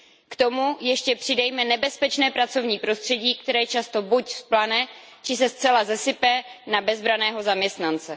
K tomu ještě přidejme nebezpečné pracovní prostředí, které často buď vzplane, či se zcela sesype na bezbranného zaměstnance.